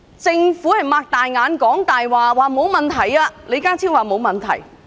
政府睜眼說瞎話，聲稱沒問題，李家超也說沒問題。